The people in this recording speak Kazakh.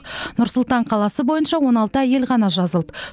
нұр сұлтан қаласы бойынша он алты әйел ғана жазылды